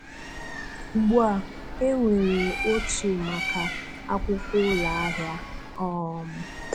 Ugbu a, enwere otu maka akwụkwọ ụlọ ahịa. um